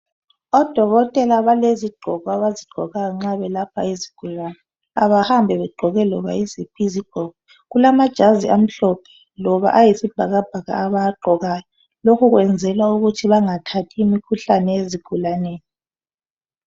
Odokotela balezigqoko abazigqokayo nxa belapha izigulane abahambi begqoke loba yiziphi izigqoko kulamajazi amhlophe loba ayisibhakabhaka abawagqokayo lokhu kwenzelwa ukuthi bangathathi imikhuhlane ezigulaneni.